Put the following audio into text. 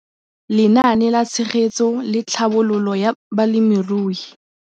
Lenaane la Tshegetso le Tlhabololo ya Balemirui.